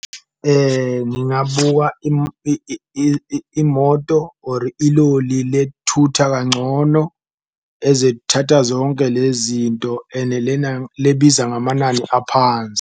Ngingabuka imoto or iloli lethutha kangcono ezethatha zonke lezinto ene lebiza ngamanani aphansi.